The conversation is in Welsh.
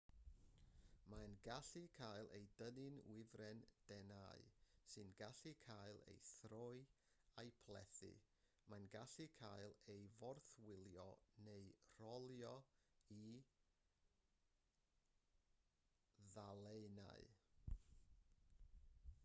mae'n gallu cael ei dynnu'n wifren denau sy'n gallu cael ei throi a'i phlethu mae'n gallu cael ei forthwylio neu'i rolio i ddalennau